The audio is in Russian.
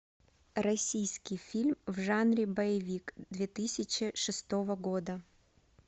российский фильм в жанре боевик две тысячи шестого года